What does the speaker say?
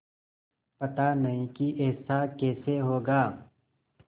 पता नहीं कि ऐसा कैसे होगा